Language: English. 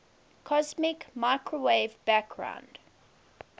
cosmic microwave background